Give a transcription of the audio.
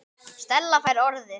Stella fær orðið.